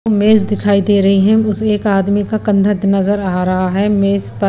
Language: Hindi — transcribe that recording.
मेस दिखाई दे रही है उस एक आदमी का कंधा नजर आ रहा है मेस पर--